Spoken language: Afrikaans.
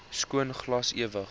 skoon glas ewig